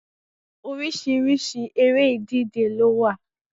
Oríṣiríṣi eré ìdíje ló wà